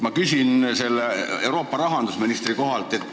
Ma küsingi selle Euroopa rahandusministri kohta.